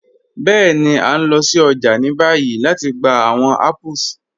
Bẹẹ̀ni, a n lọ sí ọjà ni báyì lati gbà awọn apples.